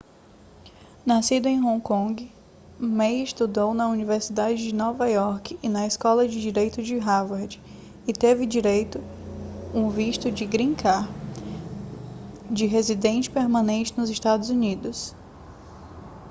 nascido em hong kong ma estudou na universidade de nova iorque e na escola de direito de harvard e já teve um visto green card de residente permanente nos estados unidos